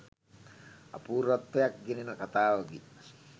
අපූර්වත්වයක් ගෙනෙන කතාවකි.